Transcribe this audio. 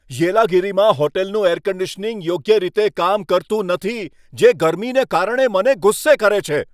યેલાગિરીમાં હોટલનું air conditioning યોગ્ય રીતે કામ કરતું નથી, જે ગરમીને કારણે મને ગુસ્સે કરે છે.